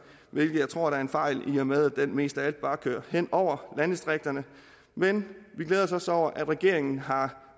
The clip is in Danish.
hvilket jeg tror er en fejl i og med at den mest af alt bare kører hen over landdistrikterne men vi glæder os over at regeringen har